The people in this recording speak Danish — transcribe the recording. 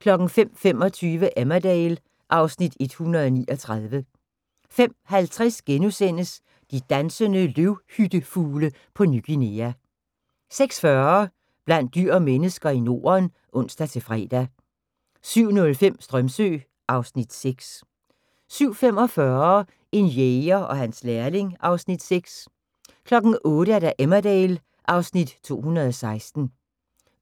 05:25: Emmerdale (Afs. 139) 05:50: De dansende løvhyttefugle på Ny Guinea * 06:40: Blandt dyr og mennesker i Norden (ons-fre) 07:05: Strömsö (Afs. 6) 07:45: En jæger og hans lærling (Afs. 6) 08:00: Emmerdale (Afs. 216)